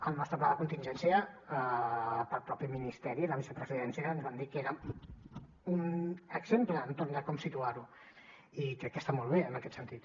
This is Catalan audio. el nostre pla de contingència el mateix ministeri i la vicepresidència ens van dir que era un exemple entorn de com situar ho i crec que està molt bé en aquest sentit